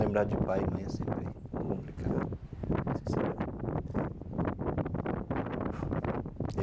Lembrar de pai e mãe é sempre complicado.